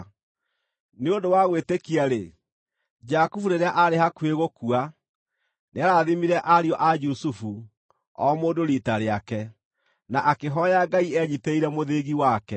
Nĩ ũndũ wa gwĩtĩkia-rĩ, Jakubu, rĩrĩa aarĩ hakuhĩ gũkua, nĩarathimire ariũ a Jusufu, o mũndũ riita rĩake, na akĩhooya Ngai enyiitĩrĩire mũthĩgi wake.